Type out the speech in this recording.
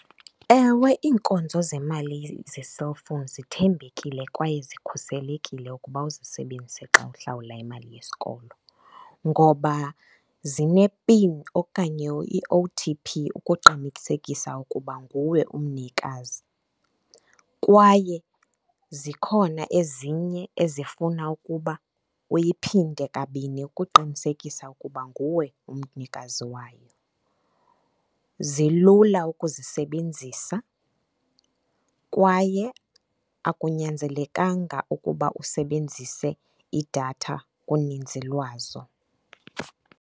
Ewe, iinkonzo zemali ze-cellphone zithembekile kwaye zikhuselekile ukuba uzisebenzise xa uhlawula imali yesikolo ngoba zinepini okanye i-O_T_P ukuqinisekisa ukuba nguwe umnikazi. Kwaye zikhona ezinye ezifuna ukuba uyiphinde kabini ukuqinisekisa ukuba nguwe umnikazi wayo. Zilula ukuzisebenzisa kwaye akunyanzelekanga ukuba usebenzise idatha kuninzi lwazo.